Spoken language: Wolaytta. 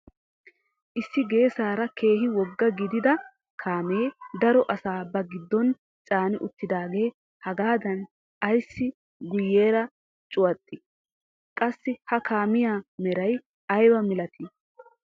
Issi geessaara keehi wogga gidida kaamee daro asaa ba giddon caani uttidagee hagaadan ayssi guyeera cuwattii? qassi ha kaamiyaa meray ayba milatii?